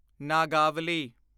Nagavali